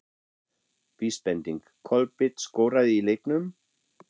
Vísbending: Kolbeinn skoraði í leiknum?